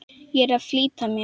Ég er að flýta mér!